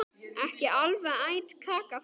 Ekki alveg æt kaka þar.